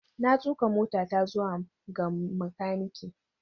Na tuka motata zuwa ga makaniki.